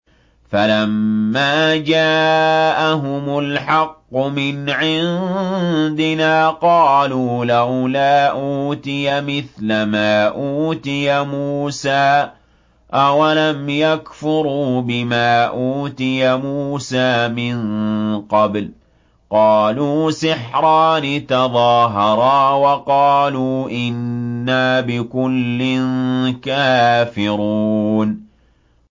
فَلَمَّا جَاءَهُمُ الْحَقُّ مِنْ عِندِنَا قَالُوا لَوْلَا أُوتِيَ مِثْلَ مَا أُوتِيَ مُوسَىٰ ۚ أَوَلَمْ يَكْفُرُوا بِمَا أُوتِيَ مُوسَىٰ مِن قَبْلُ ۖ قَالُوا سِحْرَانِ تَظَاهَرَا وَقَالُوا إِنَّا بِكُلٍّ كَافِرُونَ